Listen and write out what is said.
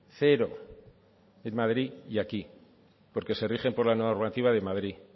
cero en madrid y aquí porque se rigen por la normativa de madrid